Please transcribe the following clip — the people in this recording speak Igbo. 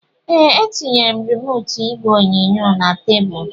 Ee, etinyere m remootu igwe onyonyo na tebụlu